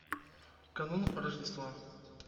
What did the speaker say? канун рождества